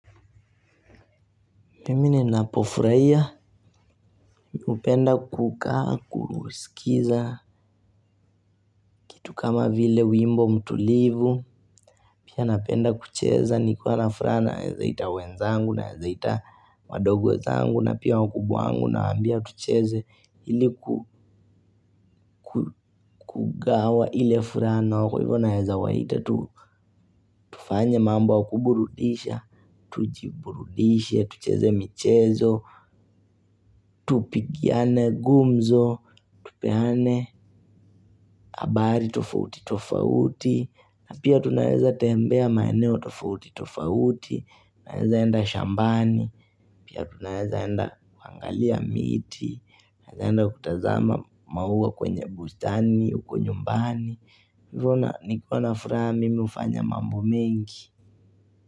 Mimi ninapofurahia hupenda kukaa kusikiza. Tu kama vile wimbo mtulivu. Pia napenda kucheza nikiwa na furaha naweza ita wenzangu naweza ita. Wadogo wezangu na pia wakubwa wangu nawaambia tucheze ili. Kugawa ile furana nao kwa hivyo naweza waita tu. Tufanye mambo ya kuburudisha. Tujiburudishe tucheze michezo. Tupigiane gumzo, tupeane. Habari tofauti tofauti. Na pia tunaeza tembea maeneo tofauti tofauti. Naezaenda shambani. Pia tunaezaenda kuangalia miti. Naeza enda kutazama maua kwenye bustani uko nyumbani. Nikiwa na furaha mimi hufanya mambo mingi.